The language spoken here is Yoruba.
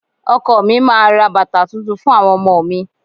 Ọkọ mi máa ra bàtà tuntun fún àwọn ọmọ mi.